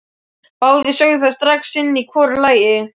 Báðir sögðu það strax sinn í hvoru lagi.